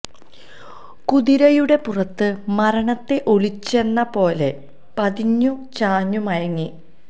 കുതിരയുടെ പുറത്ത് മരണത്തെ ഒളിച്ചെന്ന പോലെ പതിഞ്ഞു ചാഞ്ഞു മയങ്ങി